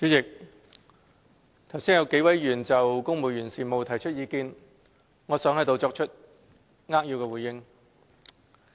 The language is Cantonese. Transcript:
代理主席，剛才有幾位議員就公務員事務提出意見，我想作出扼要回應。